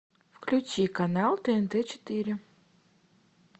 включи канал тнт четыре